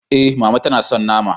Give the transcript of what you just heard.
E, Mama ta na so nama.